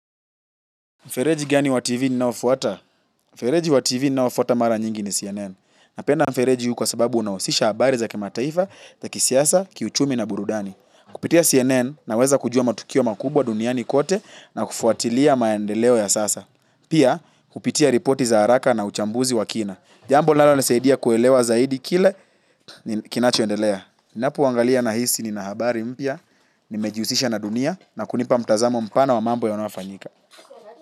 Mfereji gani wa TV ninaoufuata? Mfereji wa TV ninaoufuata mara nyingi ni CNN. Napenda mfereji huu kwa sababu unahusisha habari za kimataifa za kisiasa, kiuchumi na burudani. Kupitia CNN naweza kujua matukio makubwa duniani kote na kufuatilia maendeleo ya sasa. Pia, kupitia ripoti za haraka na uchambuzi wa kina. Jambo linalonisaidia kuelewa zaidi kile kinachoendelea. Ninapowaangalia, nahisi nina habari mpya, nimejihusisha na dunia na kunipa mtazamo mpana wa mambo yanayofanyika.